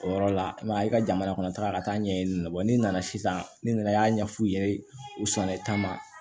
O yɔrɔ la i ma ye i ka jamana kɔnɔtaga ka taa ɲɛɲini n'i nana sisan ni nana i y'a ɲɛ f'u ye u sɔnna taama